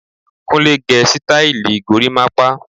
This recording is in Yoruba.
Kúnlẹ́ gé sítáílì gorimapa.